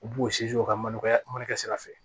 U b'u o ka mana mana kɛ sira fɛ